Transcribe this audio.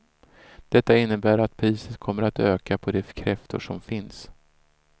Detta innebär att priset kommer att öka på de kräftor som finns.